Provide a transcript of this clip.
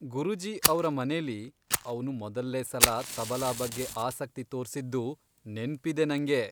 ಗುರೂಜೀ ಅವ್ರ ಮನೇಲಿ ಅವ್ನು ಮೊದಲ್ಲೇ ಸಲ ತಬಲಾ ಬಗ್ಗೆ ಆಸಕ್ತಿ ತೋರ್ಸಿದ್ದು ನೆನ್ಪಿದೆ ನಂಗೆ.